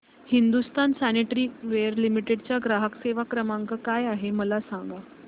Hindustan sanitaryware limited चा ग्राहक सेवा क्रमांक काय आहे मला सांगा